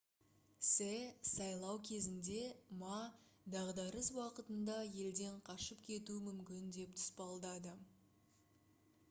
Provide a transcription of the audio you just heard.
се сайлау кезінде ма дағдарыс уақытында елден қашып кетуі мүмкін деп тұспалдады